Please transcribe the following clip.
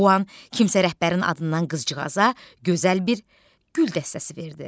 Bu an kimsə rəhbərin adından qızcığaza gözəl bir gül dəstəsi verdi.